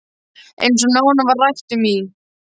Eins og nánar var rætt um í